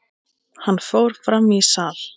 Hann fór fram í sal.